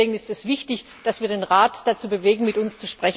Deswegen ist es wichtig, dass wir den Rat dazu bewegen, mit uns